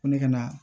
Ko ne ka na